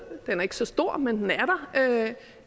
den er ikke så stor men det